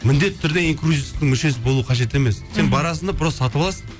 мендетті түрде инкрузерстің мүшесі болу қажет емес мхм сен барасың да просто сатып аласың